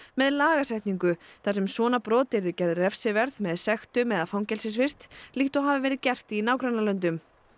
með lagasetningu þar sem svona brot yrðu gerð refsiverð með sektum eða fangelsisvist líkt og hafi verið gert í nágrannalöndum